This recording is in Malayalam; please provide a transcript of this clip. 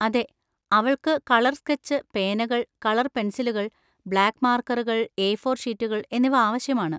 അതെ, അവൾക്ക് കളർ സ്കെച്ച് പേനകൾ, കളർ പെൻസിലുകൾ, ബ്ലാക്ക് മാർക്കറുകൾ, എ ഫോർ ഷീറ്റുകൾ എന്നിവ ആവശ്യമാണ്.